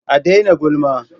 A dai na gulma